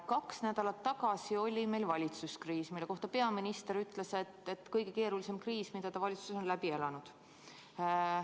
Kaks nädalat tagasi oli meil valitsuskriis, mille kohta peaminister ütles, et see oli kõige keerulisem kriis, mida ta valitsuses on läbi elanud.